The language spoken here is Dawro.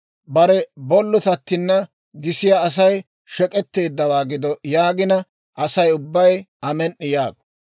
« ‹Bare bollotattina gisiyaa Asay shek'etteeddawaa gido› yaagina, Asay ubbay, ‹Amen"i!› yaago.